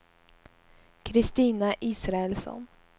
Kristina Israelsson